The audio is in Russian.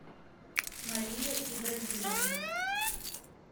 мария ибрагимовна